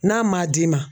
N'a ma d'i ma